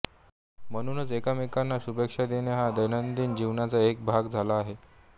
म्हणूनच एकमेकांना शुभेच्छा देणे हा दैनंदिन जीवनाचा एक भाग झाला आहे